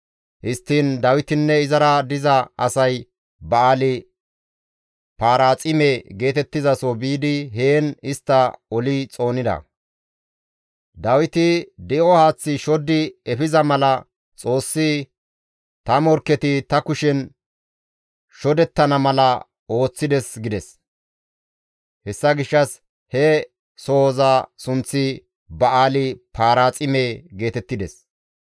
Histtiin Dawitinne izara diza asay Ba7aali-Paraaxime geetettizaso biidi heen istta oli xoonida; Dawiti, «Di7o haaththi shoddi efiza mala Xoossi ta morkketi ta kushen shodettana mala ooththides» gides; hessa gishshas he sohoza sunththi Ba7aali-Paraaxime geetettides.